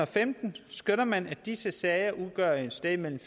femten skønner man at disse sager udgør et sted mellem